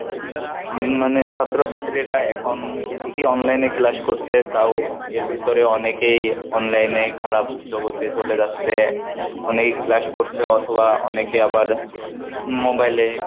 তত মানুষের ভোগান্তি আরো বৃদ্ধি পাচ্ছে উম মানে ছাত্র ছাত্রীরা এখন ঠিকই online এ class করসে তাও এর ভিতরে অনেকেই online এ খারাপ জগতে চলে যাচ্ছে অনেকে class করসে অথবা অনেকে আবার mobile এ